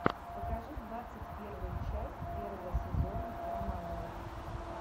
покажи двадцать первая часть первого сезона романовых